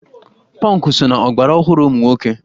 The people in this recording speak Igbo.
Pọnkụ so na isi ọgbaraọhụrụ ụmụ nwoke